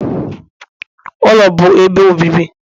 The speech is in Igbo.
ụlọ bụ ebe obibi